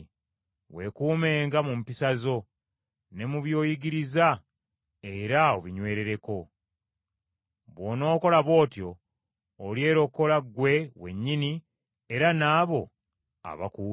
Weekuumenga mu mpisa zo, ne mu by’oyigiriza era obinywerereko. Bw’onookola bw’otyo olyerokola ggwe wennyini, era n’abo abakuwulira.